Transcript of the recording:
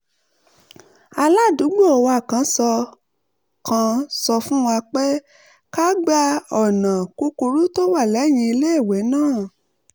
aládùúgbò wa kan sọ kan sọ fún wa pé ká gba ọ̀nà kúkúrú tó wà lẹ́yìn iléèwé náà